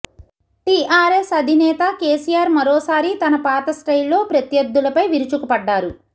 TRS అధినేత KCR మరోసారి తన పాత స్టైల్లో ప్రత్యర్ధులపై విరుచుకుపడ్డారు